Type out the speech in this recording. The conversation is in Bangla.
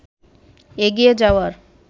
এগিয়ে যাওয়ার